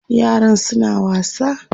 yaran suna wasa